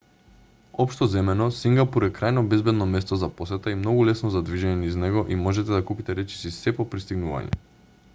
општо земено сингапур е крајно безбедно место за посета и многу лесно за движење низ него и можете да купите речиси сѐ по пристигнување